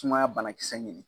Sumaya bana kisɛ ɲini